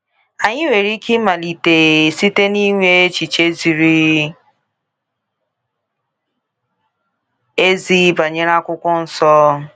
Anyị nwere ike ịmalite site n’inwe echiche ziri ezi banyere Akwụkwọ Nsọ.